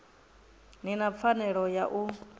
ni na pfanelo ya u